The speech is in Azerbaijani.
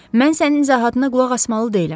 Mən sənin izahatına qulaq asmalı deyiləm.